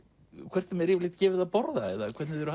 hvort þeim er yfirleitt gefið að borða eða hvernig þau eru